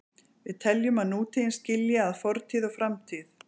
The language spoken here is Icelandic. Við teljum að nútíðin skilji að fortíð og framtíð.